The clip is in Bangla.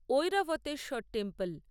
ঐরাভতেশ্বর টেম্পেল